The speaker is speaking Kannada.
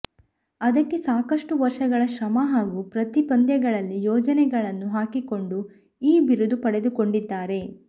ಅದಕ್ಕೆ ಸಾಕಷ್ಟು ವರ್ಷಗಳ ಶ್ರಮ ಹಾಗೂ ಪ್ರತಿ ಪಂದ್ಯಗಳಲ್ಲಿ ಯೋಜನೆಗಳನ್ನು ಹಾಕಿಕೊಂಡು ಈ ಬಿರುದು ಪಡೆದುಕೊಂಡಿದ್ದಾರೆ